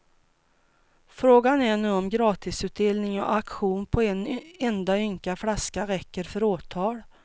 Frågan är nu om gratisutdelning och auktion på en enda ynka flaska räcker för åtal.